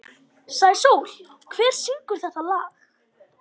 Sæsól, hver syngur þetta lag?